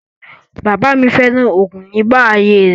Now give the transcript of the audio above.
Bàbáà mi féràn oògùn nígbà ayé rẹ.